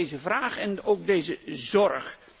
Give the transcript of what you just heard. Daarom deze vraag en ook deze zorg.